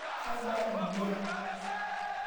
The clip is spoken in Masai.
Kaiba ldia